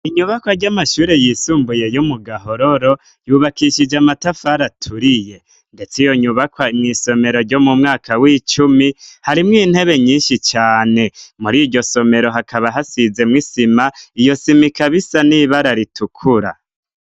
Inyubakwa ry'amashure yisumbuye yo mu Gahororo yubakishije amatafari aturiye, ndetse iyo nyubakwa mw'isomero ryo mu mwaka w'icumi, harimwo intebe nyinshi cane. Muri iryo somero hakaba hasizemwo isima, iyo sima ikaba isa n'ibara ritukura.